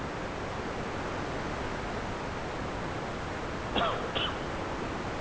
caughing